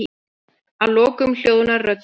Að lokum hljóðnar rödd mín.